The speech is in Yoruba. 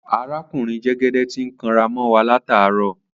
Aràkúnrin jẹgẹdẹ ti ń kàn rá mọ wà làtá rọ.